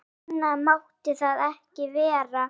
Seinna mátti það ekki vera.